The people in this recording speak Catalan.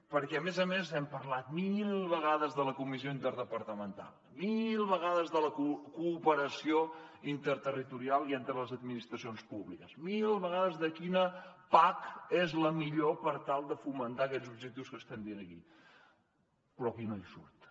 perquè a més a més hem parlat mil vegades de la comissió interdepartamental mil vegades de la cooperació interterritorial i entre les administracions públiques mil vegades de quina pac és la millor per tal de fomentar aquests objectius que estem dirigint però aquí no hi surten